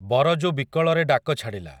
ବରଜୁ ବିକଳରେ ଡାକ ଛାଡ଼ିଲା ।